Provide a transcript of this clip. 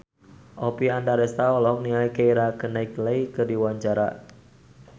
Oppie Andaresta olohok ningali Keira Knightley keur diwawancara